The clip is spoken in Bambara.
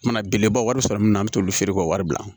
Mana belebeleba wari sɔrɔ min na an mi t'olu feere k'o wari bila